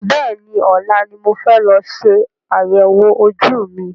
Bẹ́ẹ̀ni, ọ̀la ni mo fẹ́ lọ ṣe àyẹ̀wò ojú mi.